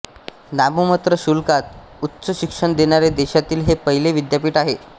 नाममात्र शुल्कात उच्च शिक्षण देणारे देशातील हे पहिले विद्यापीठ आहे